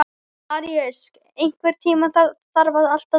Maríus, einhvern tímann þarf allt að taka enda.